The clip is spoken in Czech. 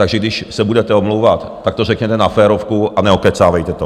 Takže když se budete omlouvat, tak to řekněte na férovku a neokecávejte to.